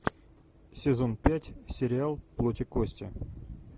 сезон пять сериал плоть и кости